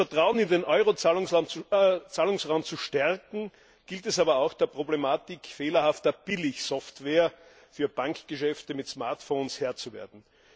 Gerade um das Vertrauen in den Euro Zahlungsraum zu stärken, gilt es aber auch der Problematik fehlerhafter Billigsoftware für Bankgeschäfte mit Smartphones Herr zu werden.